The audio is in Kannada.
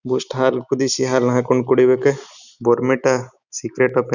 ಎಷ್ಟು ಹಾಲು ಕುದಿಸಿ ಹಾಲ್ ನ ಹಾಕ್ಕೊಂಡ್ ಕುಡಿಬೇಕಾ ಬೊರ್ಮಿಟಾ ಸಿಗ್ರೆಟ್ ಒಫ್ --